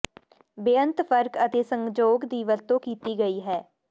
ਬੇਅੰਤ ਫਰਕ ਅਤੇ ਸੰਜੋਗ ਦੀ ਵਰਤੋਂ ਕੀਤੀ ਗਈ ਹੈ